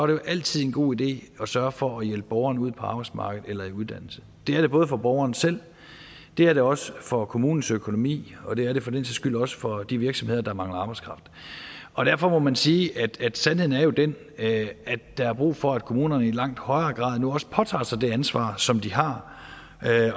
jo altid en god idé at sørge for at hjælpe borgeren ud på arbejdsmarkedet eller i uddannelse det er det både for borgeren selv det er det også for kommunernes økonomi og det er det for den sags skyld også for de virksomheder der mangler arbejdskraft og derfor må man sige at sandheden jo er den at der er brug for at kommunerne i langt højere grad nu også påtager sig det ansvar som de har